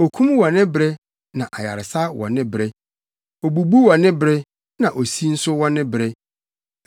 okum wɔ ne bere na ayaresa wɔ ne bere, obubu wɔ ne bere, na osi nso wɔ ne bere,